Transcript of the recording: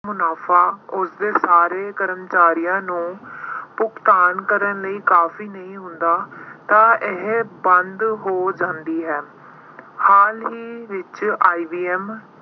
ਮੁਨਾਫ਼ਾ, ਉਸਦੇ ਸਾਰੇ ਕਰਮਚਾਰੀਆਂ ਨੂੰ ਭੁਗਤਾਨ ਕਰਨ ਲਈ ਕਾਫ਼ੀ ਨਹੀਂ ਹੁੰਦਾ ਤਾਂ ਇਹ ਬੰਦ ਹੋ ਜਾਂਦੀ ਹੈ। ਹਾਲ ਹੀ ਵਿੱਚ IBM